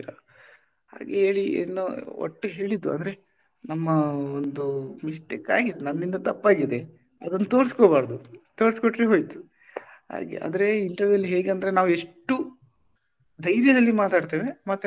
ಹಾಗೆ ಹೇಳಿ ಏನೋ ಒಟ್ಟು ಹೇಳಿದ್ದು ಅಂದ್ರೆ ನಮ್ಮ ಒಂದು mistake ಆಗಿದೆ ನನ್ನಿಂದ ತಪ್ಪಾಗಿದೆ ಅದನ್ನು ತೋರಿಸ್ಕೊಬಾರ್ದು ತೋರಿಸ್ಕೊಟ್ರೆ ಹೋಯ್ತು ಹಾಗೆ ಆದ್ರೆ interview ಅಲ್ಲಿ ಹೇಗಂದ್ರೆ ನಾವು ಎಷ್ಟು ಧೈರ್ಯದಲ್ಲಿ ಮಾತಾಡ್ತೇವೆ ಮತ್ತೆ ನಾವು,